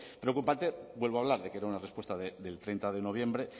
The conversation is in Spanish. preocupante vuelvo a hablar de que era una respuesta del treinta de noviembre